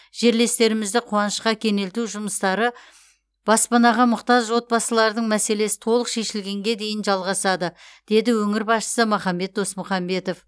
жерлестерімізді қуанышқа кеңелту жұмыстары баспанаға мұқтаж отбасылардың мәселесі толық шешілгенге дейін жалғасады деді өңір басшысы махамбет досмұхамбетов